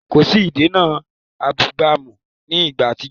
Kòsí “ìdènà abúgbàmù” ní ìgbà àtijọ